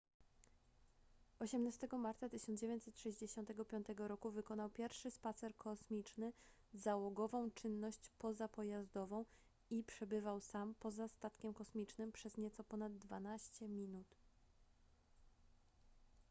18 marca 1965 roku wykonał pierwszy spacer kosmiczny załogową czynność pozapojazdową” i przebywał sam poza statkiem kosmicznym przez nieco ponad dwanaście minut